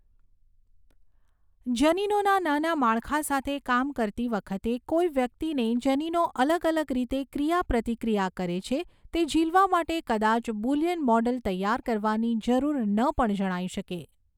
જનીનોના નાના માળખા સાથે કામ કરતી વખતે કોઈ વ્યક્તિને જનીનો અલગ અલગ રીતે ક્રિયાપ્રતિક્રિયા કરે છે તે ઝીલવા માટે કદાચ બુલિયન મૉડલ તૈયાર કરવાની જરૂર ન પણ જણાઈ શકે.